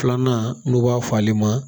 Filanan n'u b'a fɔ ale ma